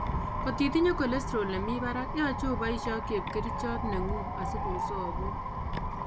Kot itinye cholesterol nebi barak , yoche iboisie ak chepkerichot neng'un asikobosok